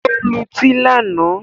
Ó lutí lánàá